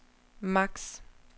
max